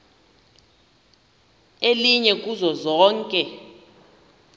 elinye kuzo zonke